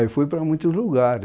Ah, eu fui para muitos lugares.